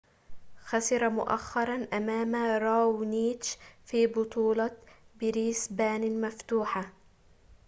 خسر مؤخرًا أمام راونيتش في بطولة بريسبان المفتوحة